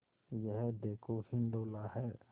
यह देखो हिंडोला है